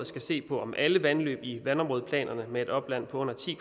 skal se på om alle vandløb i vandområdeplanerne med et opland på under ti